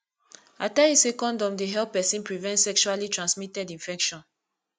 i tell you sey condom dey help pesin prevent sexually transmitted infection